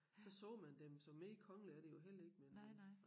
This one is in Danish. Så så man dem så mere kongelige er de jo heller ikke men